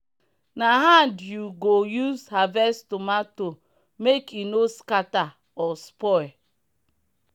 na hand you go use harvest tomato make e no scatter or spoil.